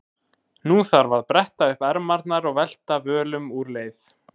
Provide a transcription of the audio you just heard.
Nú þarft þú að bretta upp ermarnar og velta völum úr leið.